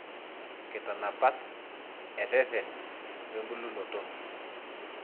inkitanapat, ereren, we bulunoto.